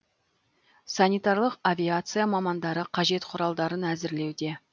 санитарлық авиация мамандары қажет құралдарын әзірлеуде